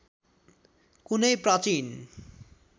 कुनै प्राचीन